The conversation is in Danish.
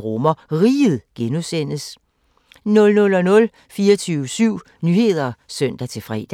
RomerRiget (G) 00:00: 24syv Nyheder (søn-fre)